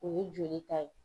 O ye joli ta ye.